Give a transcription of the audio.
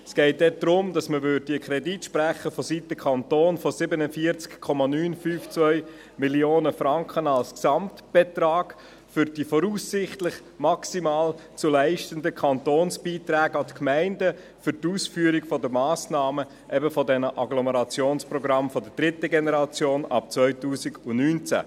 Es geht dort darum, dass man vonseiten Kanton einen Kredit in der Höhe von 47,952 Mio. Franken sprechen würde als Gesamtbetrag, für die voraussichtlich maximal zu leistenden Kantonsbeiträge an die Gemeinden für die Ausführung dieser Massnahmen, eben dieser Agglomerationsprogramme der dritten Generation ab 2019.